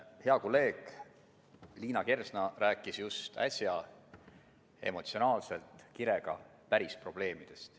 Hea kolleeg Liina Kersna rääkis just äsja emotsionaalselt ja kirega päris probleemidest.